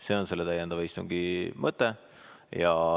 See on selle täiendava istungi mõte.